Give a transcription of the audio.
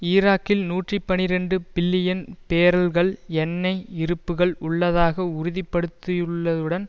ஈராக்கில் நூற்றி பனிரண்டு பில்லியன் பேரல்கள் எண்ணெய் இருப்பு உள்ளதாக உறுதிப்படுத்தப்பட்டுள்ளதுடன்